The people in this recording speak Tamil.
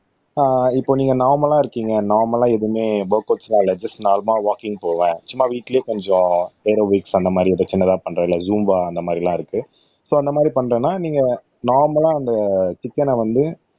அஹ் இப்ப நீங்க நார்மலா இருக்கீங்க நார்மலா எதுவுமே ஒர்கவுட்ஸ்லாம் இல்ல ஜஸ்ட் நார்மல்லா வாக்கிங் போவேன் சும்மா வீட்டுலயே கொஞ்சம் ஏதோ ஏரோபிக்ஸ் அந்த மாதிரி ஏதோ சின்னதா பண்ற இல்ல ஜும்பா அந்த மாதிரி எல்லாம் இருக்கு சோ அந்த மாதிரி பண்றேன்னா நீங்க நார்மல்லா அந்த சிக்கன வந்து